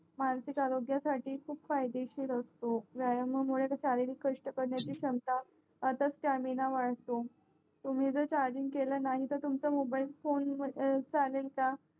मानसिक आरोग्यासाठी खूप फायदेशीर असतो व्यायामा मुळे शारिक कष्ट करण्याची क्षमता असच स्टॅमिना वाढतो तुम्ही जर चार्जिंग केला नाही तर तुमचा मोबाईल फोन चालेल का